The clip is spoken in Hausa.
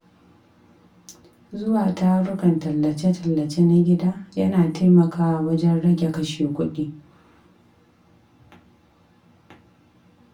Zuwa tarukan tallace-tallace na gida yana taimakawa wajen rage kashe kuɗi.